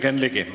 Jürgen Ligi.